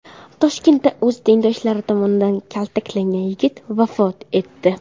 Toshkentda o‘z tengdoshlari tomonidan kaltaklangan yigit vafot etdi.